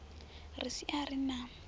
ri si a ri na